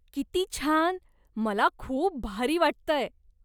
किती छान, मला खूप भारी वाटतंय.